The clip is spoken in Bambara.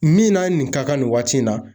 Min n'a nin ka kan nin waati in na